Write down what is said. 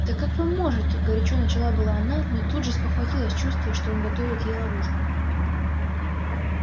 да как вы можете горячо начала было она но тут же спохватилась чувствуя что он готовит ей ловушку